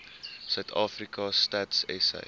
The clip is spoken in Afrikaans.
suidafrika stats sa